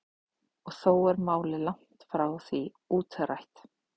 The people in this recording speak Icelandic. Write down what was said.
Og þó er málið langt frá því útrætt.